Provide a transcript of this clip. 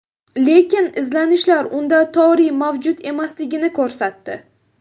Lekin izlanishlar unda toriy mavjud emasligini ko‘rsatdi.